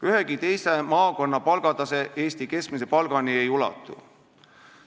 Ühegi teise maakonna keskmine palgatase Eesti keskmise palgani ei ulatu.